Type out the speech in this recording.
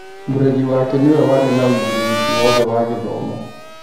Mũreri wake nĩwe warĩ na wĩigĩrırĩki wothe wa gĩthomo.